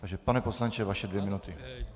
Takže pane poslanče, vaše dvě minuty.